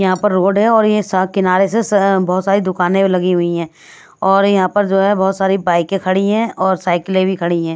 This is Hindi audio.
यहाँ पर रोड है और ये स किनारे से बहुत सारी दुकानें लगी हुई हैं और यहाँ पर जो है बहुत सारी बाइकें खड़ी हैं और साइकिलें भी खड़ी हैं ।